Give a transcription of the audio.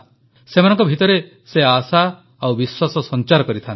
ସେମାନଙ୍କ ଭିତରେ ସେ ଆଶା ଓ ବିଶ୍ୱାସ ସଂଚାର କରିଥାନ୍ତି